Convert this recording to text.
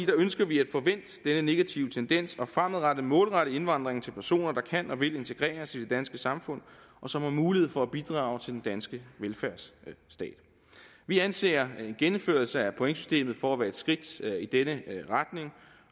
ønsker vi at få vendt denne negative tendens og fremadrettet målrette indvandringen til personer der kan og vil integreres i det danske samfund og som har mulighed for at bidrage til den danske velfærdsstat vi anser en genindførelse af pointsystemet for at være et skridt i denne retning